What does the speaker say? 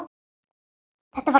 Þetta var kona.